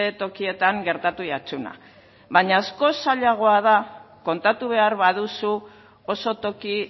tokietan gertatu jatzuna baino askoz zailagoa da kontatu behar baduzu oso toki